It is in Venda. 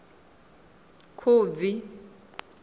khubvi